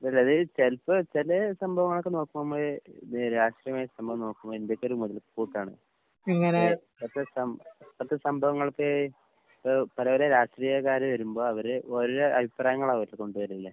അല്ല അത് ചെലപ്പോ ചെലേ സംഭവങ്ങളൊക്കെ നോക്കുമ്പഴ് ഇത് രാഷ്ട്രീയമായൊരു സംഭവം നോക്കുമ്പ ഇന്ത്യക്കൊരു മൊതൽക്കൂട്ടാണ്. പിന്നെ ഇപ്പഴത്തെ സം ഇപ്പഴത്തെ സംഭവങ്ങൾക്ക് ഏഹ് പല പല രാഷ്ട്രീയക്കാര് വരുമ്പോ അവര് ഓരോ അഭിപ്രായങ്ങളാ അവര് കൊണ്ട് വരുന്നേ.